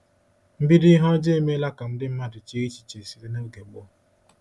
MBIDO ihe ọjọọ emeela ka ndị mmadụ chee echiche site n’oge gboo.